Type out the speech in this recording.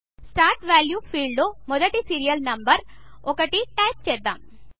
start value ఫీల్డ్లో మొదటి serial number 1 type చేద్దాం